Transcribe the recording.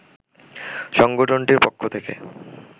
সংগঠনটির পক্ষ থেকে